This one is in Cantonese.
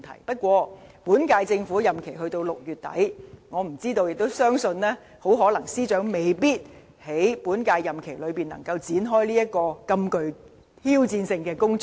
不過，本屆政府任期只到6月底，司長很可能未必能在本屆任期內，展開這項如此具挑戰性的工作。